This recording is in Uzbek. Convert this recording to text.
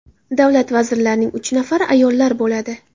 Davlat vazirlarining uch nafari ayollar bo‘ladi.